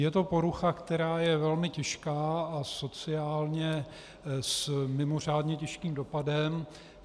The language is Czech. Je to porucha, která je velmi těžká a sociálně s mimořádně těžkým dopadem.